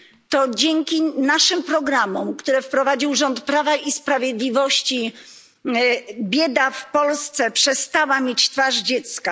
To dzięki naszym programom, które wprowadził rząd Prawa i Sprawiedliwości, bieda w Polsce przestała mieć twarz dziecka.